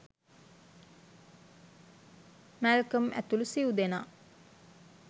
Malcolm ඇතුළු සිව්දෙනා